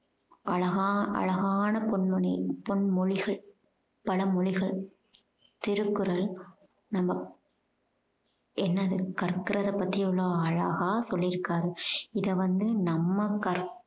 அழகா~ அழகான பொன்மொணி~ பொன்மொழிகள் பல மொழிகள் திருக்குறள் நம்ம என்னது கற்கறத பத்தி எவ்வளோ அழகா சொல்லியிருக்காரு. இதை வந்து நம்ம கற்~